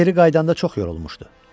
O geri qayıdanda çox yorulmuşdu.